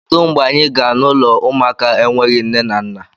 Kedu mgbe anyị gaa n'ụlọ ụmụaka enweghị nne na nna!